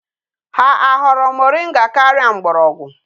Ha ahoro moringa karia mgborogwu?